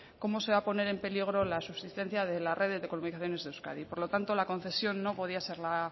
cómo se va a poner en peligro la subsistencia de la red de comunicaciones de euskadi por lo tanto la concesión no podía ser la